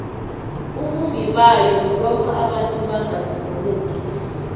ubumbibayo bayo kulokha abantu bangazilolongi